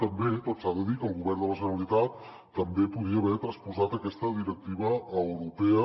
també tot s’ha de dir el govern de la generalitat també podria haver transposat aquesta directiva europea